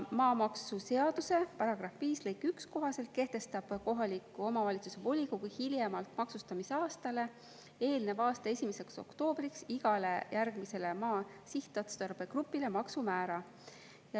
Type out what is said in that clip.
Maamaksuseaduse § 5 lõike 1 kohaselt kehtestab kohaliku omavalitsuse volikogu hiljemalt maksustamisaastale eelneva aasta 1. oktoobriks igale järgmisele maa sihtotstarbe grupile maksumäära.